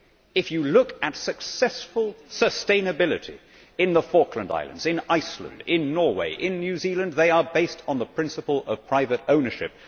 If you look at successful sustainability in the Falkland Islands, in Iceland, in Norway, in New Zealand, they are based on the principle of private ownership.